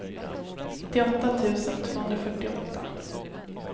nittioåtta tusen tvåhundrafyrtioåtta